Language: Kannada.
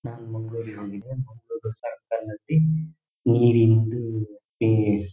ನಾನ್ ಮಂಗಳೂರ್ ರಿಗ್ ಹೋಗಿದ್ದೆ ಮಂಗಳೂರ್ ಸರ್ಕಲ್ ನಲ್ಲಿ ನೀರಿನೊಂದು --